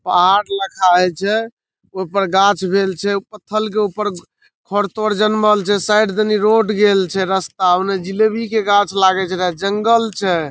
पहाड़ लईखा हई जे। ऊपर गाछ वृक्ष छे। पत्थर के ऊपर जानमाल छे। साइड तनी रोड गेल छे रस्ता। ओने जलेबी के गाछ लगैत रहे ओने जंगल छे।